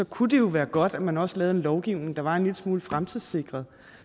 kunne være godt at man også lavede en lovgivning der var en lille smule fremtidssikret